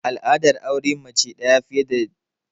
Al'adar auren mace fiya da daya, ta yawaita a arewacin Naijeriya.